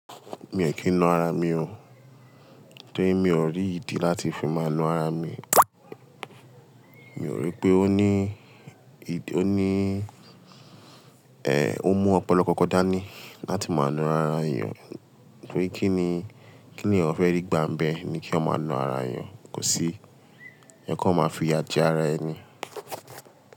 Mi ò kì í nu ara mi o. Torí mi ò rí ìdí láti fi má nu ara mi. Mi ò rí pé ó ní ì-- ó ní-- ẹ, ó mú ọ̀pọ̀lọpọ̀ kankan dá ní láti má nu ara èèyàn. Torí kí ni, kí ni ẹ̀yan fẹ rí gba n bẹ ní kí eyan ma na ara èèyàn? Kò sí. Ẹ kan má fi iya jẹ ara ẹ ní.